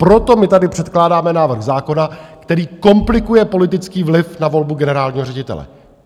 Proto my tady předkládáme návrh zákona, který komplikuje politický vliv na volbu generálního ředitele.